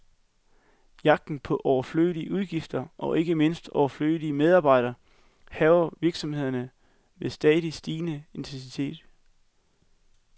Jagten på overflødige udgifter, og ikke mindst overflødige medarbejdere, hærger virksomhederne med stadig stigende intensitet.